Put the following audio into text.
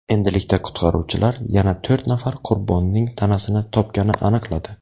Endilikda qutqaruvchilar yana to‘rt nafar qurbonning tanasini topgani aniqladi.